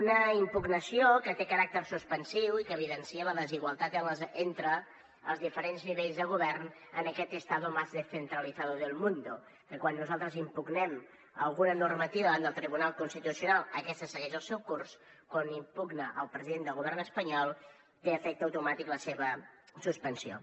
una impugnació que té caràcter suspensiu i que evidencia la desigualtat entre els diferents nivells de govern en aquest estado más descentralizado del mundo que quan nosaltres impugnem alguna normativa davant del tribunal constitucional aquesta segueix el seu curs quan n’impugna el president del govern espanyol té efecte automàtic la seva suspensió